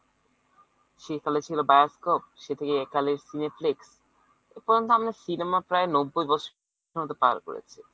সেইকালে ছিল বায়স্কোপ সে থেকে একালের সিনেফ্লিক্স এপর্যন্ত আমাদের cinema প্রায় আমরা নব্বই বছর মত পার করেছি।